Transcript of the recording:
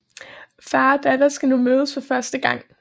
Far og datter skal nu mødes for første gang